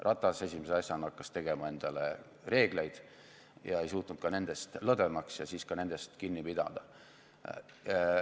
Ratas hakkas esimese asjana tegema endale reegleid lõdvemaks ega suutnud siis ka nendest kinni pidada.